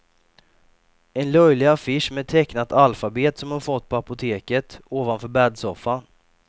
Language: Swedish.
En löjlig affisch med tecknat alfabet som hon fått på apoteket, ovanför bäddsoffan.